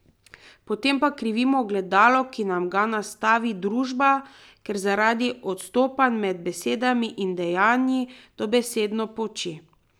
Potem pa krivimo ogledalo, ki nam ga nastavi družba, ker zaradi odstopanja med besedami in dejanji dobesedno poči.